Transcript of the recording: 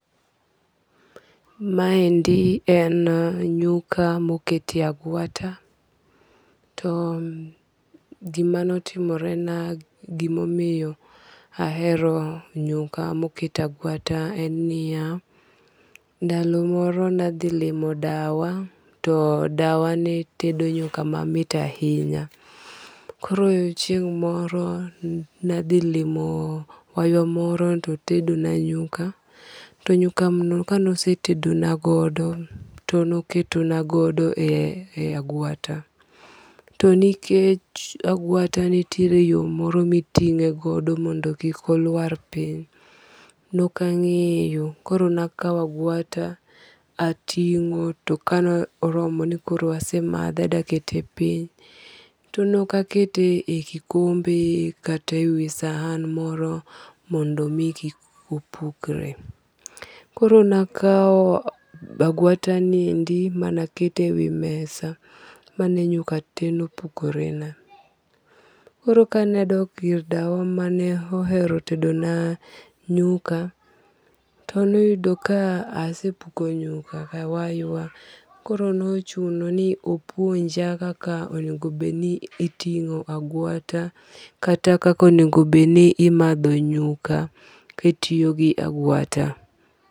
Ma endi en nyuka ma oket e agwata, to gi ma ne otimore na gi ma omiyo ahero nyuka ma oket a agwata en ni ya, ndalo moro ne adhi limo dawa to dawa ne tedo nyuka mamit ahinya. Koro chieng' moro ne adhi limo waywa moro to otedo na nyuka, to nyuka no ka ne osetedo na godo to ne oketo na godo e agwata. To nikech agwata nitie yo moro ma mi iting'e godo mondo kik oluar piny ne ok ang'eyo koro ne akawo agwata ating'o to ka ne oromo ni koro asemadhe adwa kete piny to ne ok akete e kikombe kata we wi san moro mondo mi kik opukre. Koro ne akawo agwata ni endi ma ne akete e wi mesa ma ne nyuka tee opukore na. Koro ka ne adok ir dawa ma ne ohero tedo na nyuka to ne oyudo ka asepuko nyuka ka waywa. Koro ne ochuno ni opuonja kaka onego bed ni itingo agwata kata kaka onego bed ni imadho nyuka ki itiypo gi agwata.